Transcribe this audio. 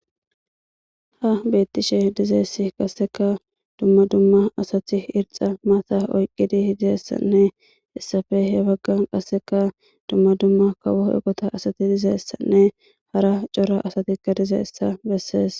Ha beettishe dizeessi qasseka dumma dumma asati irxxa maata oyqqidi didayssanne issappe he waggan qasseka dumma dumma kawo eqota asati dizeessanne hara cora asatikka dizeessa bessees.